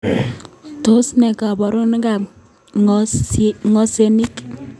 Tos ne koborunaikab ngosenik